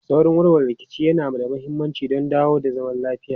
Saurin warware rikici yana da mahimmanci don dawo da zaman lafiya.